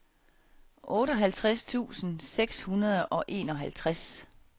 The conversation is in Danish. otteoghalvtreds tusind seks hundrede og enoghalvtreds